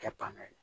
Kɛ tan na ye